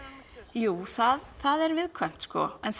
jú það er viðkvæmt sko en